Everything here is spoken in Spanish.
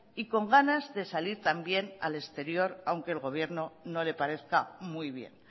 y con ganas de salir también al exterior aunque al gobierno no le parezca muy bien